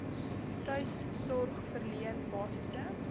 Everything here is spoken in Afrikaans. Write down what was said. tuissorg verleen basiese